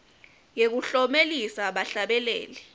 yekuklomelisa bahlabeleli